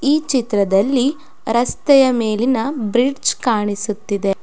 ಈ ಚಿತ್ರದಲ್ಲಿ ರಸ್ತೆಯ ಮೇಲಿನ ಬ್ರಿಡ್ಜ್ ಕಾಣಿಸುತ್ತಿದೆ.